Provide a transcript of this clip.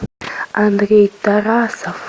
андрей тарасов